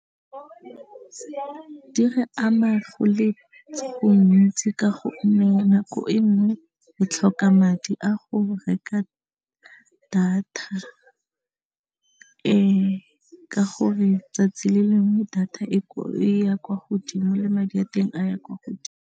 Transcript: Di re ama go le gontsi ka gonne nako e nngwe re tlhoka madi a go reka data e ka go re tsatsi le lengwe data e ya kwa godimo le madi a teng a ya kwa godimo.